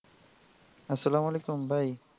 আসসালামু আলাইকুম ভাই।